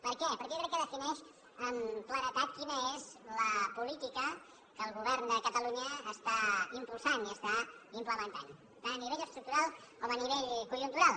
per què perquè jo crec que defineixen amb claredat quina és la política que el govern de catalunya impulsa i implementa tant a nivell estructural com a nivell conjuntural